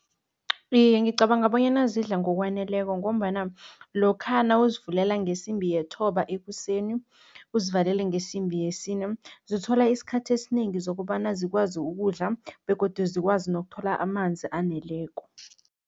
Iye, ngicabanga bonyana zidla ngokwaneleko ngombana lokha nawuzivulela ngesimbi yethoba ekuseni, uzivalele ngesimbi yesine, zithola isikhathi esinengi zokobana zikwazi ukudla begodu zikwazi nokuthola amanzi aneleko.